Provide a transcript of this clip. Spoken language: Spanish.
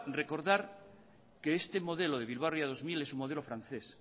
recordar que este modelo de bilbao ría dos mil es un modelo francés